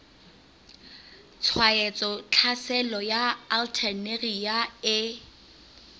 tshwaetso tlhaselo ya alternaria e